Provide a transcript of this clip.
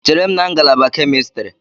Chere m na ngalaba kemistri!